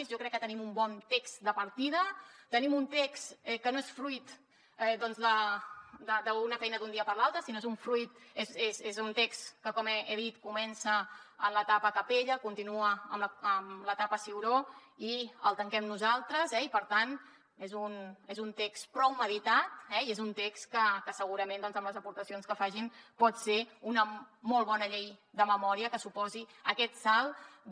jo crec que tenim un bon text de partida tenim un text que no és fruit doncs d’una feina d’un dia per l’altre sinó que és un text que com he dit comença en l’etapa capella continua en l’etapa ciuró i el tanquem nosaltres eh i per tant és un text prou meditat i és un text que segurament amb les aportacions que facin pot ser una molt bona llei de memòria que suposi aquest salt de